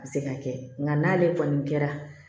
A bɛ se ka kɛ nka n'ale kɔni kɛra